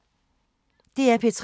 DR P3